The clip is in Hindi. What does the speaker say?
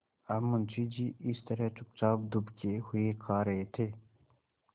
अब मुंशी जी इस तरह चुपचाप दुबके हुए खा रहे थे